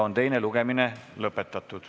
Teine lugemine on lõpetatud.